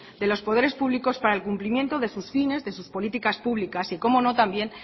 de los poderes públicos para el cumplimiento de sus fines de sus políticas públicas y cómo no también